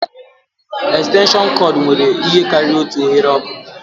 Estenshịọnụ kọọdụ nwere ihe karịrị otu oghere ọkụ